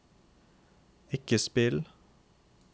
ikke spill